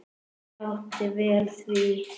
Það átti vel við.